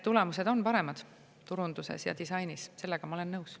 Tulemused on paremad turunduses ja disainis, sellega ma olen nõus.